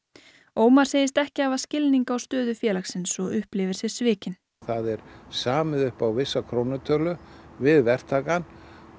Ómar segist ekki hafa skilning á stöðu félagsins og upplifir sig svikinn það er samið upp á vissa krónutölu við verktakann